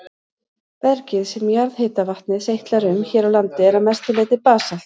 Bergið sem jarðhitavatnið seytlar um hér á landi er að langmestu leyti basalt.